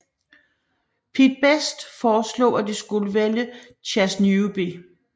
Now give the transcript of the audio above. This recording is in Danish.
Pete Best foreslog at de skulle vælge Chas Newby